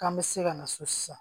K'an bɛ se ka na so sisan